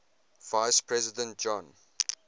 vice president john